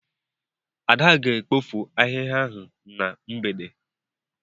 Ada ga-ekpofu ahịhịa ahụ na mgbede.